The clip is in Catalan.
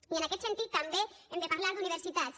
i en aquest sentit també hem de parlar d’universitats